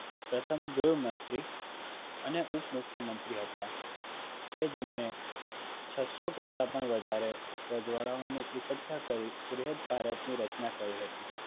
પ્રથમ ગૃહ મંત્રી અને ઉપ મુખ્યમંત્રી હતા કે જેમણે ચસ્સો પણ વધારે રજવાડાઓને એકખટા કરી ભારતની રચના કરી હતી